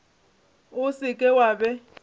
o se ke wa be